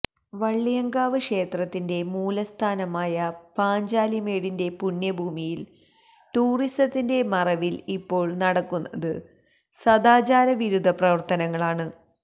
വള്ളിയാങ്കാവ് ക്ഷേത്രത്തിന്റെ മൂലസ്ഥാനമായ പാഞ്ചാലിമേടിന്റെ പുണ്യഭൂമിയില് ടൂറിസത്തിന്റെ മറവില് ഇപ്പോള് നടക്കുന്നത് സദാചാരവിരുദ്ധ പ്രവര്ത്തനങ്ങളാണ്